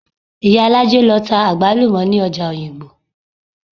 Ìyálájé lọ ta àgbálùmọ̀ ní ọjà òyìngbò